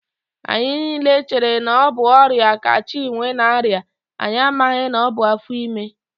Anyị niile chere na ọ bụ ọrịa ka Chinwe na-arịa, anyị amaghị na ọ bụ afọ ime